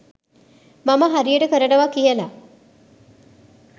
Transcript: මම හරියට කරනවා කියලා.